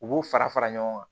U b'u fara fara ɲɔgɔn kan